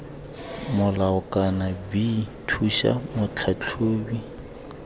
molao kana b thusa motlhatlhobi